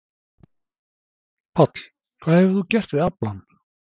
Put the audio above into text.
Páll: Hvað hefur þú gert við aflann?